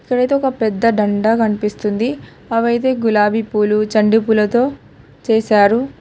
ఇక్కడైతే ఒక పెద్ద డండ కన్పిస్తుంది అవైతే గులాబీ పూలు చండి పూలతో చేశారు.